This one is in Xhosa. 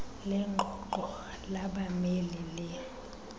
lengxoxo labameli le